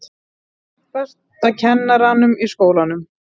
Langbesta kennaranum í skólanum.